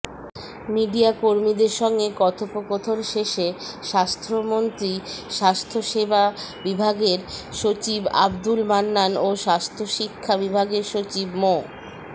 মিডিয়াকর্মীদের সঙ্গে কথোপকথন শেষে স্বাস্থ্যমন্ত্রী স্বাস্থ্যসেবা বিভাগের সচিব আব্দুল মান্নান ও স্বাস্থ্যশিক্ষা বিভাগের সচিব মো